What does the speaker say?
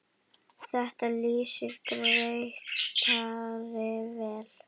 Þetta lýsir Grétari vel.